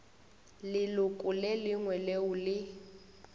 leloko le lengwe leo le